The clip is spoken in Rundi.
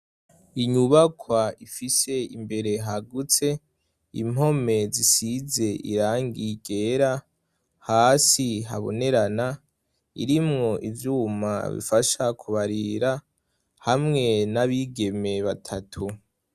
inyubakwa ifise imbere hagutse, impome zisize irangi ryera, hasi habonerana irimwo ivyuma bifasha kubarira hamwe n'abigeme batatu.